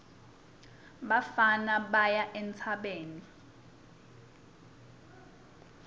bafana baya entsabeni